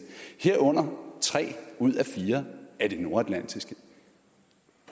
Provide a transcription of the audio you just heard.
herunder tre ud af fire af de nordatlantiske